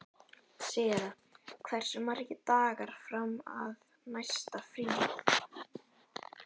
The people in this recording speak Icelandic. Sera, hversu margir dagar fram að næsta fríi?